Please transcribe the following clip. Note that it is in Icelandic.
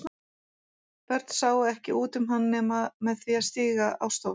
Börn sáu ekki út um hann nema með því að stíga á stól.